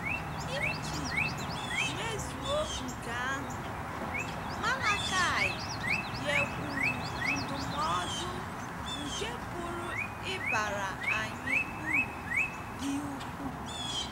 Iji mezuo nke ahụ, Malakaị nyekwuru ndụmọdụ nke pụrụ ịbara anyị uru dị ukwuu.